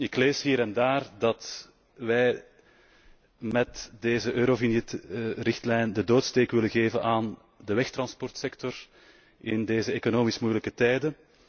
Ik lees hier en daar dat wij met deze Eurovignet richtlijn de doodsteek willen geven aan de wegtransportsector in deze economisch moeilijke tijden.